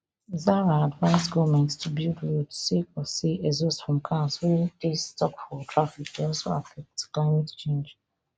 zahra advise goment to build roads sake of say exhaust from cars wey dey stuck for traffic dey also affect climate change